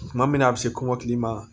Tuma min na a bɛ se kɔmɔkili ma